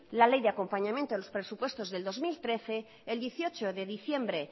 la ley de acompañamiento a los presupuestos de dos mil trece el dieciocho de diciembre